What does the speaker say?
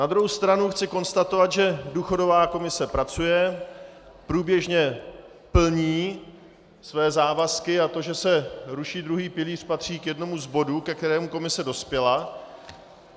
Na druhou stranu chci konstatovat, že důchodová komise pracuje, průběžně plní své závazky a to, že se ruší druhý pilíř, patří k jednomu z bodů, ke kterému komise dospěla.